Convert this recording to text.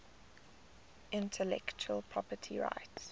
intellectual property rights